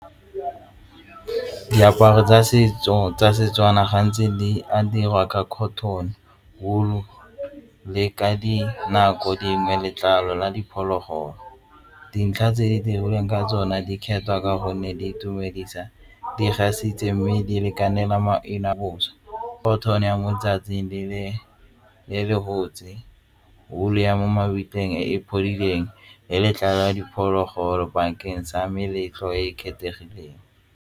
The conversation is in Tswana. Diaparo tsa setso tsa Setswana gantsi a diriwa ka cotten, ball le ka dinako dingwe letlalo la diphologolo dintlha tse di dirilweng ka tsone di kgethwa ka gonne di itumedisa di gas itse mme di lekanelang maina a bosa yone ya moletsatsing le le le rebotse wool ya mo mabitleng e le letlalo la diphologolo bakeng sa meletlo e e kgethegileng.